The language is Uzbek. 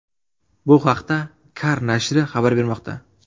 Bu haqda Car nashri xabar bermoqda.